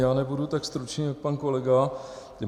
Já nebudu tak stručný jako pan kolega.